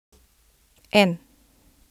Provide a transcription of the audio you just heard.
En.